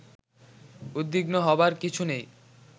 উদ্বিগ্ন হবার কিছু নেই